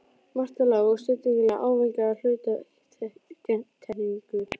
Marta lágt og stillilega með ávæningi af hluttekningu.